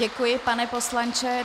Děkuji, pane poslanče.